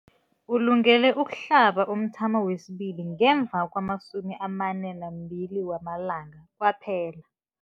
Ulungele ukuhlaba umthamo wesibili ngemva kwama-42 wamalanga kwaphela.